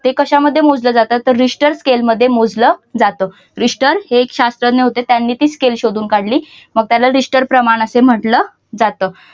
ते कश्यामध्ये मोजल जातात तर रिश्टर स्केल मध्ये मोजल जात. रिश्टर हे एक शास्त्रज्ञ होते त्यांनी ती skill शोधून काढली. त्याला रिश्टर प्रमाण असे म्हटलं जातं.